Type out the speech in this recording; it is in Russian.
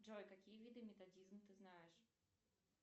джой какие виды методизм ты знаешь